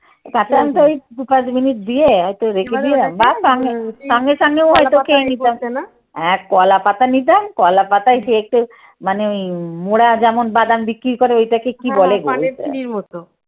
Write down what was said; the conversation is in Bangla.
তখন তো ওই দু পাঁচ মিনিট দিয়ে হয়তো রেখে দিয়ে সঙ্গে সঙ্গে ও হয়তো খেয়ে নিতাম। হ্যাঁ কলাপাতা নিতাম, কলাপাতায় যেয়ে একটু মানে ওই মোড়া যেমন বাদাম বিক্রি করে ওইটাকে কি বলে